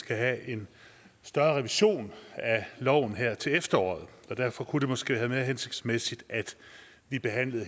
skal have en større revision af loven her til efteråret og derfor kunne det måske have været mere hensigtsmæssigt at vi behandlede